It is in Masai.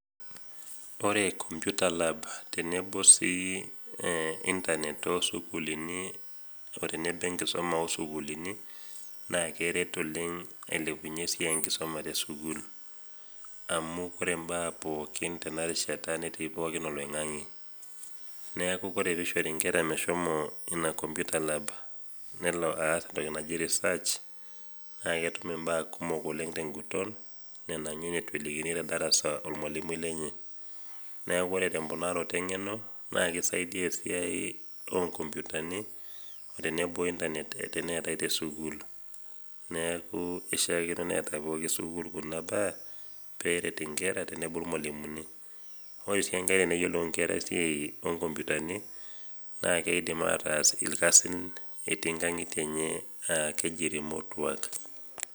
Ore kompyuta lab tenebo sii ee intanet osukuluni o tenebo  enkisoma osukulini naakeret oleng' ailepunye esiai enkisoma tesukul. Amu kore imbaa pookin tena rishata netii pooki oloing'ang'e. Neaku kore peishori nkerah meshomo ina kompyuta lab nelo aas entoki naji risaach naketum imbaa kumok oleng' ten'guton nena ninye neitu elikini te darasa olmalimui lenye. Neaku ore temponaroto eng'eno naake eisaidia esiai onkompyutani o tenebo  intanet teneetai te sukuul. Neaku eishiakino neeta pooki  sukul kuna baa peeret inkera tenebo ilmalimuni. Ore sii enkai teneyilou inkera esiai onkompyutani nakeidim ataas ilkasin etii nkang'itie enye aa keji remote work.